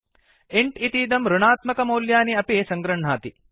int इतीदं ऋणात्मकमौल्यानि अपि सङ्गृह्णाति